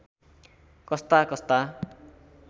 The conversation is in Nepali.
कस्ता कस्ता